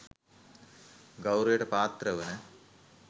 ගෞරවයට පාත්‍ර වන